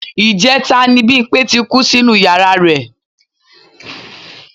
Ìjẹta ni Bímpé ti kú sínú yàra rẹ̀